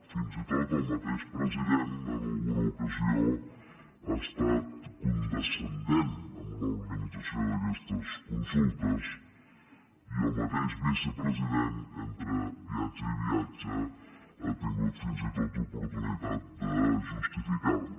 fins i tot el mateix president en alguna ocasió ha estat condescendent amb l’organització d’aquestes consultes i el mateix vicepresident entre viatge i viatge ha tingut fins i tot oportunitat de justificar les